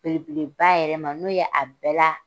Belebeleba yɛrɛ ma, n'o ye, a bɛɛ la